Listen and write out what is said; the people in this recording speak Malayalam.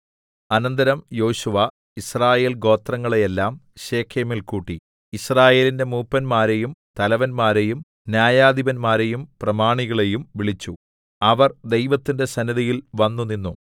അനന്തരം യോശുവ യിസ്രായേൽ ഗോത്രങ്ങളെയെല്ലാം ശെഖേമിൽ കൂട്ടി യിസ്രായേലിന്റെ മൂപ്പന്മാരെയും തലവന്മാരെയും ന്യായാധിപന്മാരെയും പ്രമാണികളെയും വിളിച്ചു അവർ ദൈവത്തിന്റെ സന്നിധിയിൽ വന്നുനിന്നു